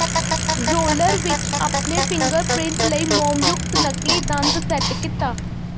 roller ਵਿੱਚ ਆਪਣੇ fingerprint ਲਈ ਮੋਮਯੁਕਤ ਨਕਲੀ ਦੰਦ ਸੈੱਟ ਕੀਤਾ